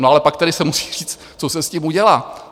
No ale pak tedy se musí říct, co se s tím udělá.